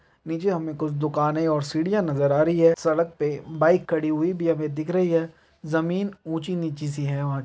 नीचे हमें कुछ दुकाने और सीढ़ियां नजर आ रही है सड़क पे बाइक खड़ी हुई भी हमें दिख रही है जमीन ऊंची नीची सी है वहां --